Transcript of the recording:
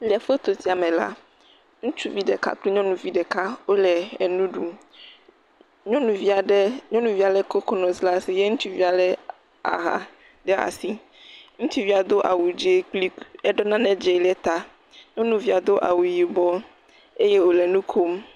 Le foto sia me la, ŋutsuvi aɖe kple nyɔnuvi ɖeka wo le enu ɖum. Nyɔnuvi aɖe, nyɔnuvia le kokonɔt ɖe asi ye ŋutsuvia le a aha ɖe asi. Ŋutsuvia do awu dzi kple eɖo nane dzi ɖe ta. Nyɔnuvia do awu yibɔ eye wo le nu kom.